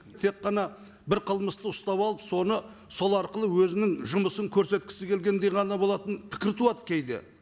тек қана бір қылмысты ұстап алып соны сол арқылы өзінің жұмысын көрсеткісі келгендей ғана болатын пікір туады кейде